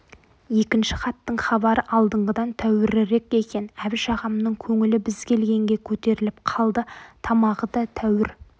екінші хаттың хабары алдыңғыдан тәуірірек екен әбіш ағамның көңілі біз келгенге көтеріліп қалды тамағы да тәуір